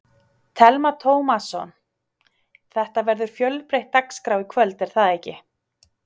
Telma Tómasson: Þetta verður fjölbreytt dagskrá í kvöld, er það ekki?